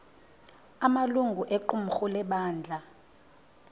amalungu equmrhu lebandla